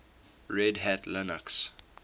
red hat linux